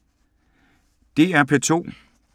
DR P2